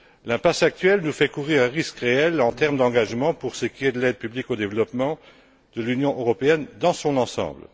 L'impasse actuelle nous fait courir un risque réel en termes d'engagement pour ce qui est de l'aide publique au développement de l'Union européenne dans son ensemble.